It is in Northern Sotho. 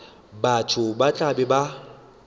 batho ba tla be ba